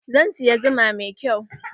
Zan siya zuma mai kyau.